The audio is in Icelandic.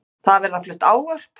Þar verða flutt ávörp.